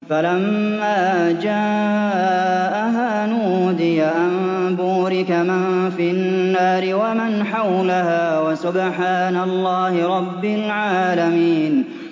فَلَمَّا جَاءَهَا نُودِيَ أَن بُورِكَ مَن فِي النَّارِ وَمَنْ حَوْلَهَا وَسُبْحَانَ اللَّهِ رَبِّ الْعَالَمِينَ